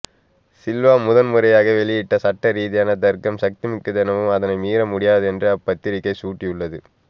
சில்வா முதன் முறையாக வெளியிட்ட சட்ட ரீதியான தர்க்கம் சக்திமிக்கதெனவும் அதனை மீற முடியாதென்றும் அப்பத்திரிகை சுட்டியுள்ளது